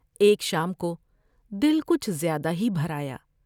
ایک شام کو دل کچھ زیادہ ہی بھر آیا ۔